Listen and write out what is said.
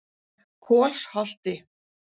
Kolsholti